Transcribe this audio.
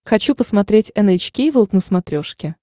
хочу посмотреть эн эйч кей волд на смотрешке